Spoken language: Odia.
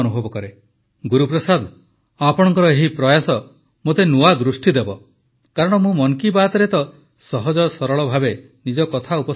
ଗୁରୁପ୍ରସାଦ ଆପଣଙ୍କର ଏହି ପ୍ରୟାସ ମୋତେ ନୂଆ ଦୃଷ୍ଟି ଦେବ କାରଣ ମୁଁ ମନ୍ କୀ ବାତ୍ରେ ତ ସହଜସରଳ ଭାବେ ନିଜ କଥା ଉପସ୍ଥାପନ କରିଥାଏ